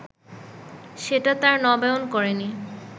সেটা তারা নবায়ন করেনি